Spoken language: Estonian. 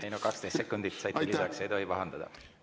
Ei no 12 sekundit saite lisaks, ei tohi pahandada.